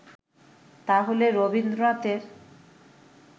তাহলে রবীন্দ্রনাথের